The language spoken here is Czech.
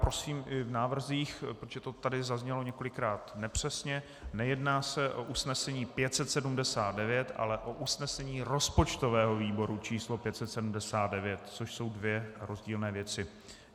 Prosím i v návrzích, protože to tady zaznělo několikrát nepřesně, nejedná se o usnesení 579, ale o usnesení rozpočtového výboru číslo 579, což jsou dvě rozdílné věci.